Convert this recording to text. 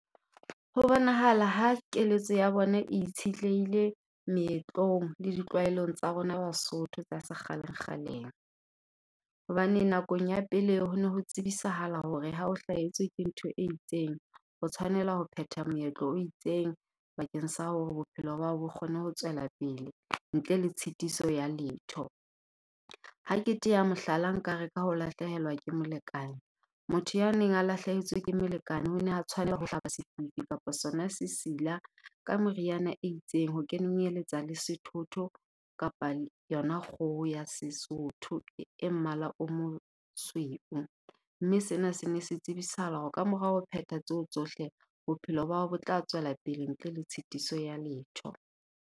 Ho bonahala ha keletso ya bona e itshitlehile meetlong le ditlwaelong tsa rona Basotho tsa se kgale-kgaleng. Hobane nakong ya pele ho ne ho tsebisahala hore ha o hlahetswe ke ntho e itseng, o tshwanela ho phetha meetlo o itseng bakeng sa hore bophelo ba hao bo kgone ho tswela pele ntle le tshitiso ya letho. Ha ke teya mohlala, nka re ka ho lahlehelwa ke molekane. Motho ya neng a lahlehetswe ke molekane o ne a tshwanela ho hlaba kapa sona sesila ka moriana e itseng ho kenyeletsa le sethotho kapa yona kgoho ya Sesotho e mmala o mosweu. Mme sena sene se tsebisahala hore kamorao ho phetha tseo tsohle, bophelo ba hao bo tla tswela pele ntle le tshitiso ya letho.